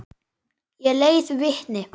Ég leiði vitni.